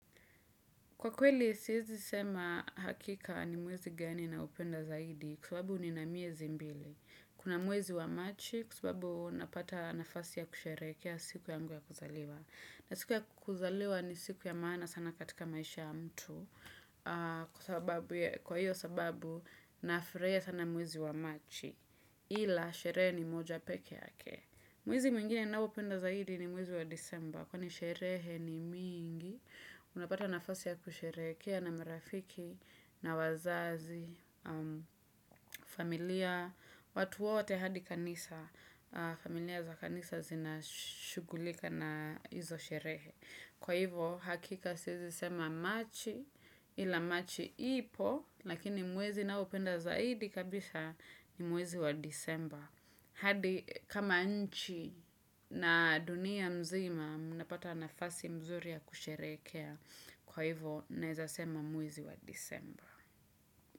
Kwa kweli, siwezi sema hakika ni mwezi gani naupenda zaidi kwa sababu nina miezi mbili. Kuna mwezi wa machi kwa sababu napata ya kusherehekea siku yangu ya kuzaliwa. Na siku ya kuzaliwa ni siku ya maana sana katika maisha ya mtu. Kwa hiyo sababu, nafurahia sana mwezi wa machi ila sherehe ni moja pekee yake. Mwezi mwingine ninaoupenda zaidi ni mwezi wa disemba. Kwani sherehe ni mingi, unapata nafasi ya kusherehekea na marafiki na wazazi, familia, watu wote hadi kanisa, familia za kanisa zinashughulika na hizo sherehe. Kwa hivyo hakika siwezi sema Machi ila Machi ipo, lakini mwezi ninaopenda zaidi kabisha ni mwezi wa Disemba. Hadi kama nchi na dunia mzima, mnapata nafasi mzuri ya kusherehekea. Kwa hivyo naweza sema mwezi wa Disemba.